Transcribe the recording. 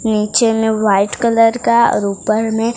नीचे में white colour का और ऊपर में--